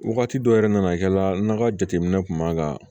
Wagati dɔ yɛrɛ nana kɛ la ka jateminɛ kun b'a ka